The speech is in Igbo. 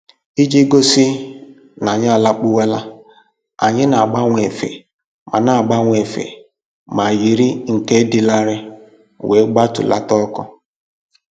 Iji gosi n'anyị alakpuwala, anyị na-agbanwe efe ma na-agbanwe efe ma yiri nke dị larịị wee gbatulata ọkụ